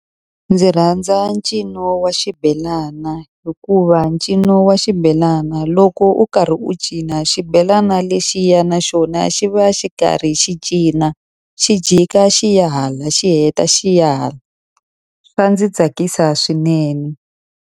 Ndzi rhandza ncino wa xibelana hikuva ncino wa xibelana loko u karhi u cina, xibelana lexiya naxona xi va xi karhi xi cina. Xi jika xi ya hala xi heta xi ya hala. Swa ndzi tsakisa swinene.